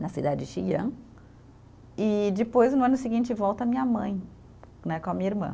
na cidade de Xi'an, e depois, no ano seguinte, volta a minha mãe né, com a minha irmã.